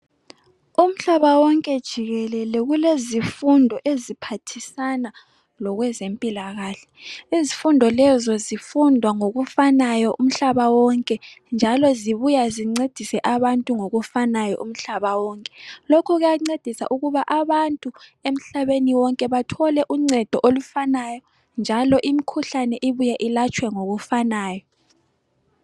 Umhlaba wonke jikelele kulezifundo eziphathisana lokwezempilakahle. Izifundo lezo zifundwa ngokufanayo umhlaba wonke njalo zibuya zincedise abantu ngokufanayo umhlaba wonke. Lokhu kuyancedisa ukuba abantu emhlabeni wonke bathole uncedo olufanayo njalo imikhuhlane ibuye ilatshwe ngokufanayo.